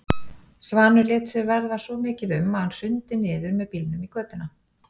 Svanur lét sér verða svo mikið um að hann hrundi niður með bílnum í götuna.